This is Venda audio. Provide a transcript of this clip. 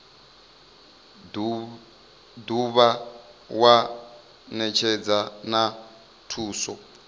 dovha wa netshedza na thuso